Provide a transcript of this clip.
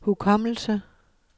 hukommelse